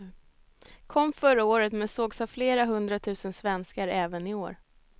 Kom förra året, men sågs av flera hundratusen svenskar även i år.